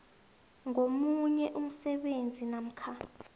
ngomunye umsebenzi namkha